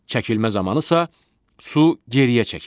Çəkilmə zamanı isə su geriyə çəkilir.